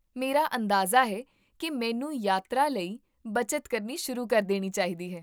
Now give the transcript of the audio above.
ਮੇਰਾ ਅੰਦਾਜ਼ਾ ਹੈ ਕਿ ਮੈਨੂੰ ਯਾਤਰਾ ਲਈ ਬੱਚਤ ਕਰਨੀ ਸ਼ੁਰੂ ਕਰ ਦੇਣੀ ਚਾਹੀਦੀ ਹੈ